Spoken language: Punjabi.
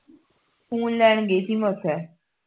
ਖੂਨ ਲੈਣ ਗਈ ਤੀ ਮੈਂ ਓਥੇ